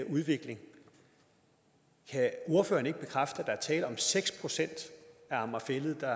udvikling kan ordføreren ikke bekræfte at der er tale om seks procent af amager fælled der